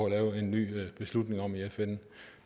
at lave en ny beslutning om i fn